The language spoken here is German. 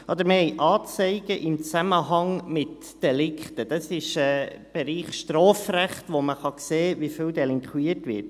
Wir haben Anzeigen im Zusammenhang mit Delikten – das ist im Bereich Strafrecht –, bei denen man sehen kann, wie viel delinquiert wird.